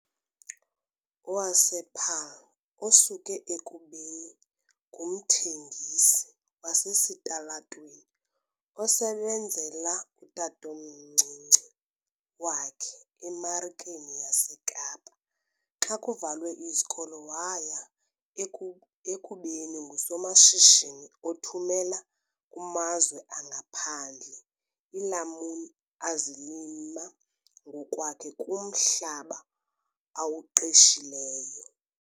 wasePaarl, osuke ekubeni ngumthengisi wasesitalatweni osebenzela utatomncinci wakhe eMarikeni yaseKapa xa kuvalwe izikolo waya eku ekubeni ngusomashishini othumela kumazwe angaphandle iilamuni azilima ngokwakhe kumhlaba awuqeshileyo.